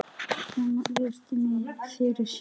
Konan virti mig fyrir sér.